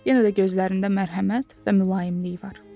Yenə də gözlərində mərhəmət və mülayimlik var.